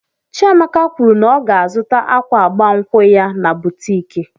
Chiamaka kwụrụ na ọ ga azụta akwa agbamnkwu ya na boutiki.